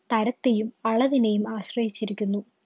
തരത്തെയും അളവിനേയും ആശ്രയിച്ചിരിക്കുന്നു.